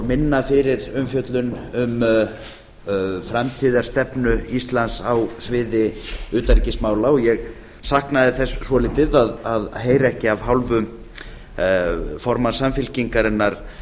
minna fyrir umfjöllun um framtíðarstefnu íslands á sviði utanríkismála ég saknaði þess svolítið að heyra ekki af hálfu formanns samfylkingarinnar